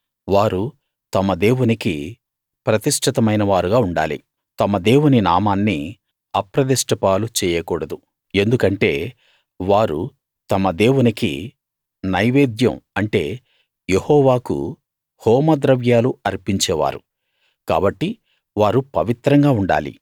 వారు తమ దేవునికి ప్రతిష్ఠితమైనవారుగా ఉండాలి తమ దేవుని నామాన్ని అప్రదిష్ట పాలు చెయ్యకూడదు ఎందుకంటే వారు తమ దేవునికి నైవేద్యం అంటే యెహోవాకు హోమద్రవ్యాలు అర్పించే వారు కాబట్టి వారు పవిత్రంగా ఉండాలి